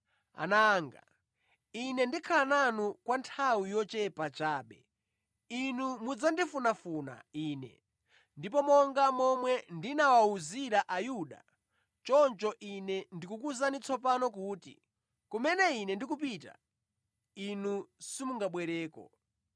“Ana anga, Ine ndikhala nanu kwa nthawi yochepa chabe. Inu mudzandifunafuna Ine, ndipo monga momwe ndinawawuzira Ayuda, choncho Ine ndikukuwuzani tsopano kuti, kumene Ine ndikupita, inu simungabwereko.